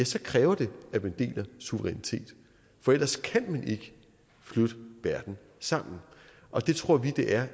så kræver det at man deler suverænitet for ellers kan man ikke flytte verden sammen og det tror vi at det er